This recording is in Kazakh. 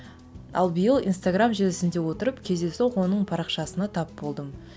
ал биыл инстаграмм желісінде отырып кездейсоқ оның парақшасына тап болдым